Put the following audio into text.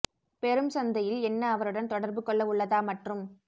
பெரும் சந்தையில் என்ன அவருடன் தொடர்பு கொள்ள உள்ளதா மற்றும்